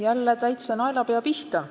Jälle täitsa naelapea pihta!